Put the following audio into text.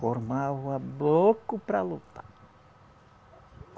Formava bloco para lutar.